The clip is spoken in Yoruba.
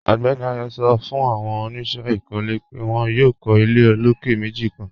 Ọgbẹ́ni Ayọ̀ sọ̀ fún awọn oníṣẹ ikọ́lẹ̀ pẹ̀ wọn yóò kọ̀ ilẹ̀ òlókè̀ mẹ́jì kan.